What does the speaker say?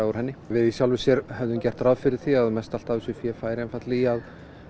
úr henni við höfðum gert ráð fyrir því að mest allt af þessu fé færi einfaldlega í að